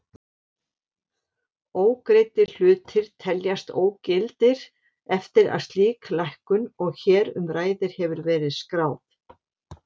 Ógreiddir hlutir teljast ógildir eftir að slík lækkun og hér um ræðir hefur verið skráð.